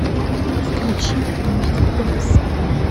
включи мьюзик бокс